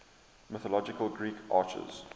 mythological greek archers